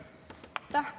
Aitäh!